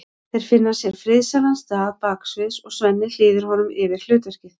Þeir finna sér friðsælan stað baksviðs og Svenni hlýðir honum yfir hlutverkið.